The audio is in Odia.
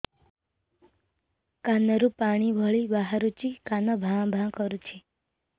କାନ ରୁ ପାଣି ଭଳି ବାହାରୁଛି କାନ ଭାଁ ଭାଁ କରୁଛି